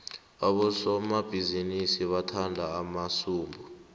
abosomabhizinisi bathanda amasudu